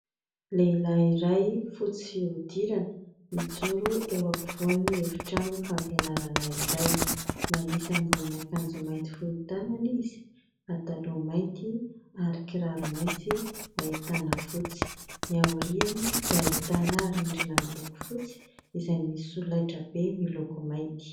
Lehilahy iray fotsy fiodirana mijoro eo am-povoan'ny efitrano fampianarana iray manisy ambonin' akanjo mainty fohy tanana izy, pataloha mainty ary kiraro mainty ahitana fotsy. Ny aoriany dia ahitana rindrina miloko fotsy izay misy solaitra be miloko mainty.